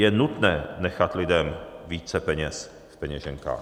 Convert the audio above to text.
Je nutné nechat lidem více peněz v peněženkách.